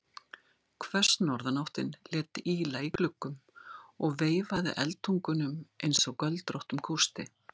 Hvöss norðanáttin lét ýla í gluggum og veifaði eldtungunum einsog göldróttum kústi.